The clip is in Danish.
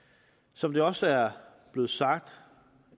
som det også er blevet sagt